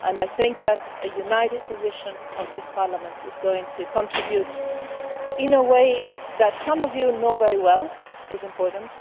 I think that a united position of this Parliament is going to contribute in a way that, as some of you know very well, is important